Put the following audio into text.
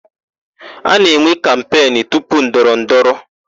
A na-enwe kampenụ tupu ndọrọ ndọrọ.